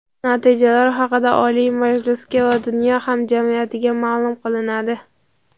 Natijalar haqida Oliy Majlisga va dunyo hamjamiyatiga maʼlum qilinadi.